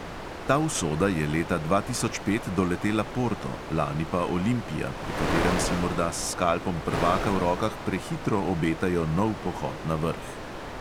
Ta usoda je leta dva tisoč pet doletela porto, lani pa olimpija, pri katerem si morda s skalpom prvaka v rokah prehitro obetajo nov pohod na vrh.